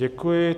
Děkuji.